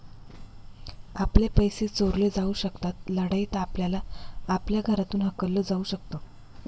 आपले पैसे चोरले जाऊ शकतात. लढाईत आपल्याला आपल्या घरातून हाकललं जाऊ शकतं.